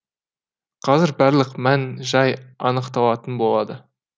қазір барлық мән жай анықталатын болады